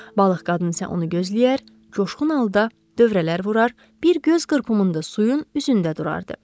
Balıq qadın isə onu gözləyər, coşqun halda dövrələr vurar, bir göz qırpımında suyun üzündə durardı.